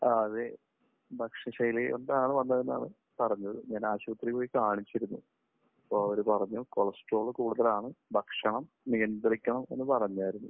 ആ അതെ. ഭക്ഷണശൈലി കൊണ്ടാണ് വന്നതെന്നാണ് പറഞ്ഞത്. ഞാൻ ആശുപത്രിയിൽ പോയി കാണിച്ചിരുന്നു. അപ്പോൾ അവർ പറഞ്ഞു കൊളസ്ട്രോൾ കൂടുതലാണ് ഭക്ഷണം നിയന്ത്രിക്കണം എന്നു പറഞ്ഞായിരുന്നു.